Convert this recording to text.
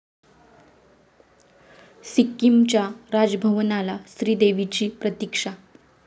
सिक्कीमच्या राजभवनाला श्रीदेवीची प्रतिक्षा